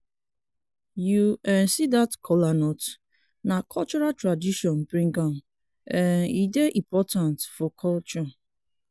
you um see dat kola nut na cultural tradition bring am um e dey important for culture